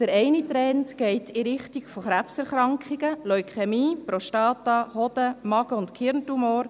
Der eine Trend geht in Richtung Krebserkrankungen, Leukämie, Prostata-, Hoden-, Magen- und Gehirntumore.